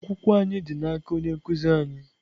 Akwụkwọ anyị dị n'aka onye nkụzi anyị.